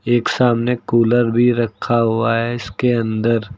एक सामने कूलर भी रखा हुआ है। इसके अंदर --